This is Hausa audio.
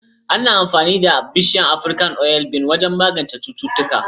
Ana amfani da bishiyar Afirka oil bean wajen magance cututtuka